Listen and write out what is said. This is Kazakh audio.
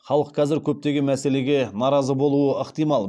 халық қазір көптеген мәселеге наразы болуы ықтимал